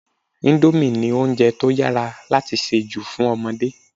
Indomie ni oúnjẹ to yára láti se jù fún ọmọdé